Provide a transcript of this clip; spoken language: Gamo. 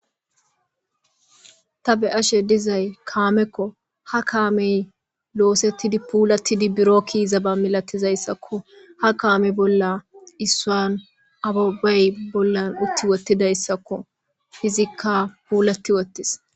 Ta be ashe dizay kaamekko ha kaamey loosettidi puulattidi biro kiiza ba milatizayssakko ha kaamey bolla issuan ababey bollan utti wottidayssakko hizikka puulati wottis.